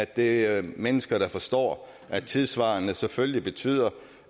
det er mennesker der forstår at tidssvarende selvfølgelig betyder